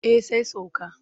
Eh sai sauka.